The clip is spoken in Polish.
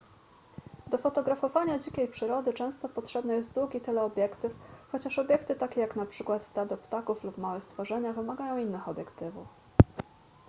do fotografowania dzikiej przyrody często potrzebny jest długi teleobiektyw chociaż obiekty takie jak np stado ptaków lub małe stworzenia wymagają innych obiektywów